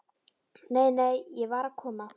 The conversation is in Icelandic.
Nei, nei, ég var að koma.